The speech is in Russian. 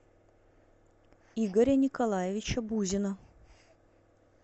игоря николаевича бузина